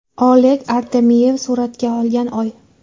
Oleg Artemyev suratga olgan oy.